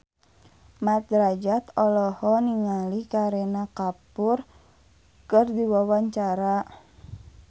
Mat Drajat olohok ningali Kareena Kapoor keur diwawancara